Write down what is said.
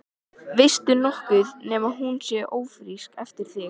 Veistu nokkuð nema hún sé ófrísk eftir þig?